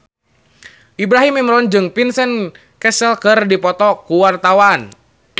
Ibrahim Imran jeung Vincent Cassel keur dipoto ku wartawan